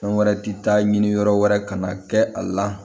Fɛn wɛrɛ ti taa ɲini yɔrɔ wɛrɛ kana kɛ a la